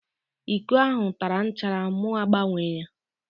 Íkó ahụ tara nchara mụ agbanwee ya